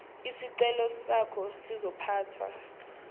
isicelo sakho sizophathwa